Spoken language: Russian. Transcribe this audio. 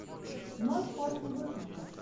ночь после выпуска